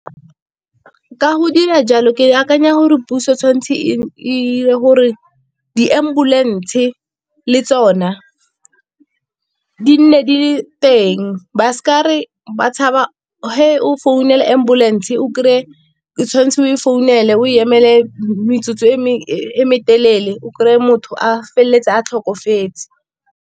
Ka go dira jalo ke akanya gore puso tshwanetse e 'ire gore di-ambulance le tsona di nne di le teng ba s'ka re ba tshaba ge o founela ambulance o krey-e o tshwanetse o e founele o emele metsotso e metelele o krey-e motho a feleletsa a tlhokafetse.